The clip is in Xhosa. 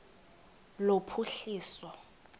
lophuhliso